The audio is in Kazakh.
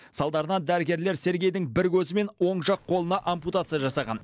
салдарынан дәрігерлер сергейдің бір көзі мен оң жақ қолына ампутация жасаған